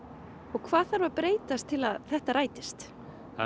hvað þarf að breytast til að þetta rætist það er